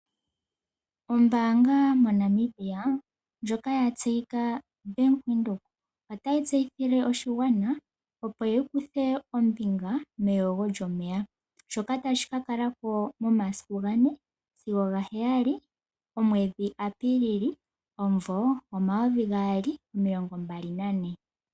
Ombaanga moNamibia ndjoka ya tseyika Bank Windhoek otayi tseyile oshigwana opo ya kuthe ombinga meyogo lyomeya, shoka tashi ka kala ko momasiku ga ne sigo ga heyali omwedhi Apilili omumvo omayovi gaali omilongo mbali nane.